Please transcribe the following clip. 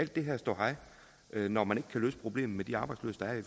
den her ståhej når man ikke kan løse problemet med de arbejdsløse der er